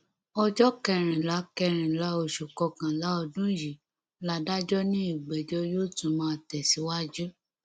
ọjọ kẹrìnlá kẹrìnlá oṣù kọkànlá ọdún yìí ládàjọ ni ìgbẹjọ yóò tún máa tẹsíwájú